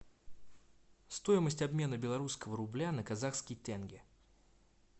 стоимость обмена белорусского рубля на казахский тенге